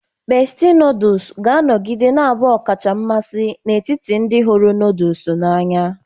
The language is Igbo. Bestie noodles ga-anọgide na-abụ ọkacha mmasị n'etiti ndị hụrụ noodle n'anya.